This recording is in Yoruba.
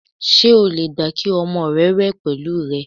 S̩e o lè gbà kí o̩mo̩ re̩ wè̩ pè̩lú rè̩?